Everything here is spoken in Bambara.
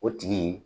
O tigi